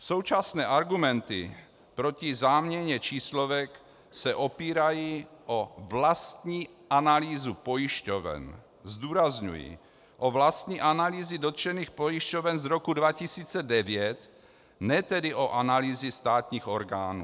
Současné argumenty proti záměně číslovek se opírají o vlastní analýzu pojišťoven - zdůrazňuji, o vlastní analýzy dotčených pojišťoven z roku 2009, ne tedy o analýzy státních orgánů.